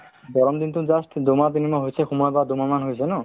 গৰম দিনতো just দুমাহ তিনি মাহ হৈছে সোমাব বা দুমাহ মান হৈছে ন